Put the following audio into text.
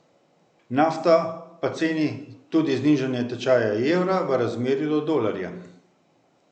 Nafto pa ceni tudi znižanje tečaja evra v razmerju do dolarja.